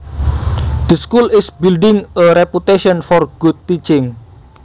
The school is building a reputation for good teaching